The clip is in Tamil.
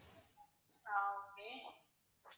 ஆஹ் okay